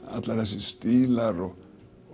allir þessir stílar og